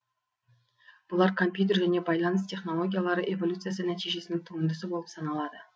бұлар компьютер және байланыс технологиялары эволюциясы нәтижесінің туындысы болып саналады